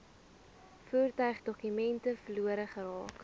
voertuigdokumente verlore geraak